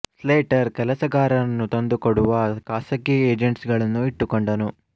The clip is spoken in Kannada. ಸ್ಲೇಟರ್ ಕೆಲಸಗಾರರನ್ನು ತಂದು ಕೊಡುವ ಖಾಸಗಿ ಏಜೆಂಟ್ಸ್ ಗಳನ್ನು ಇಟ್ಟುಕೊಂಡನು